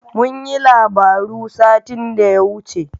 Mun yi labaru satin da ya wuce.